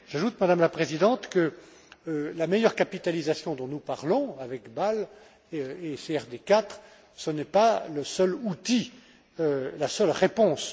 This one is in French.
J'ajoute, Madame la Présidente, que la meilleure capitalisation dont nous parlons avec Bâle et CRD 4, ce n'est pas le seul outil, la seule réponse.